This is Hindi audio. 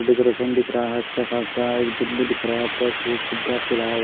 ऋतिक रोशन दिख रहा है अच्छा खासा एक दिल भी दिख रहा है ऊपर हु--